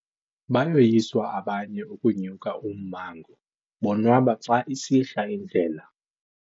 Bayoyiswa abanye ukunya ummango bonwaba xa isihla indlela.